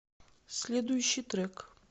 следующий трек